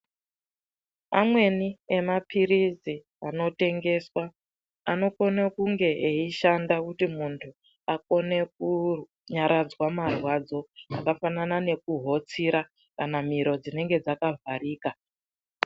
Amweni emaphirizi anotengeswa anokone kunge eishanda kuti muntu akone kunyaradzwa marwadzo akafanana nekuhotsira kana miro dzinenge dzakavharika.